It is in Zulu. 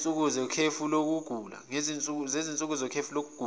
sezinsuku zekhefu lokugula